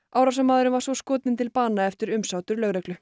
árásarmaðurinn var svo skotinn til bana eftir umsátur lögreglu